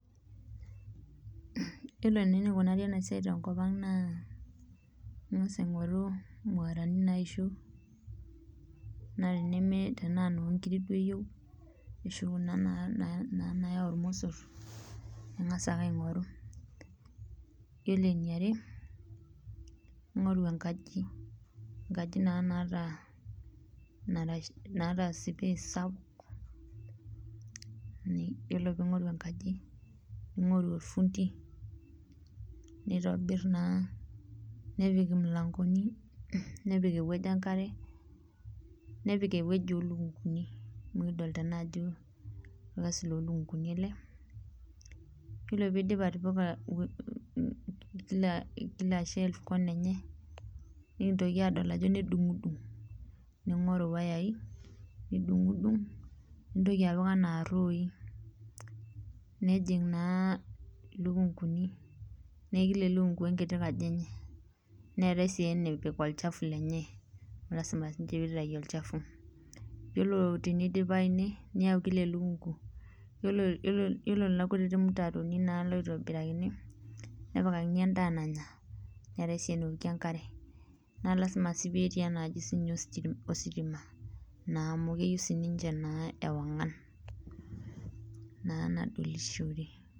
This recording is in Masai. Iyiolo naa enikunari ena siai tenkop ang' naa ing'asa aing'oru muerani naisho naa tenimi tenaa noo inkirik duo iyeu ashu kuna na na na naayau irmosor ing'asa ake aing'oru. Iyiolo eniare, ing'oru enkaji enkaji naa naata nara naata nara naata sipace sapuk. Ni iyiolo piing'oru enkaji, ning'oru ofundi, nitobir naa nepik imulang'oni, nepik ewoji enkare, nepik ewoji oo lukung'uni amu kidolta naa ajo orkasi loo lukung'uni ele. Iyiolo piidip atipika wo um we kila kila shelve kona enye, nekintoki adol ajo nedung'dung', ning'oru wayai nidung'dung' nintoki apik enaa iroi, nejing' naa ilukung'uni nee kila elukung'u we nkiti kaji enye. Neetai sii enepik olchafu lenye lazima siinje piitayu olchafu. Iyiolo tenidipayu ine niyau kila elukung'u iyiolo iyiolo iyiolo nena kutitik mutaroni naa loitobirakini nepikakini endaa nanya neetai sii enewokie enkare naa lazima sii peetii ena aji siinye osisti ositima naa amu keyiu sininje naa ewong'an naa nadolishore.